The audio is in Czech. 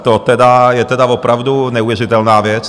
No, to je tedy opravdu neuvěřitelná věc.